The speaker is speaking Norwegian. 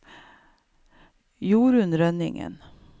Jorun Rønningen